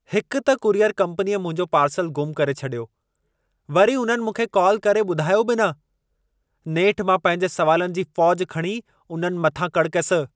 हिकु त कुरियर कम्पनीअ मुंहिंजो पार्सल गुम करे छॾियो। वरी उन्हनि मूंखे कॉल करे ॿुधायो बि न। नेठि मां पंहिंजे सवालनि जी फ़ौजि खणी उन्हनि मथां कड़कयसि ।